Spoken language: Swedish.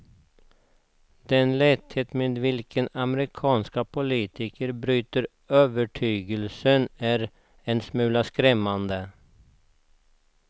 Den lätthet med vilken amerikanska politiker byter övertygelser är en smula skrämmande.